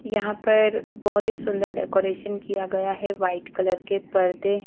यहां पर बहुत ही सुंदर डेकोरेशन किया गया है वाइट कलर के पर्दे हैं।